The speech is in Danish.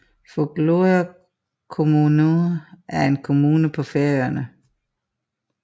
Fugloyar kommuna er en kommune på Færøerne